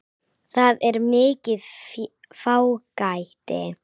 Það er mikið fágæti.